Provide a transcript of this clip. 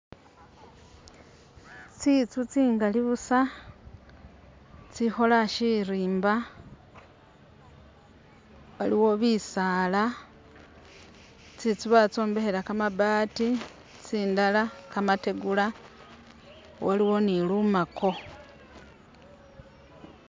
Tsitsu tsingali busa tsikhoola sirimba ,waliwo bisaala ,tsitsu batsombekhela kamabaati tsindala kamategula ,waliwo ni lumaako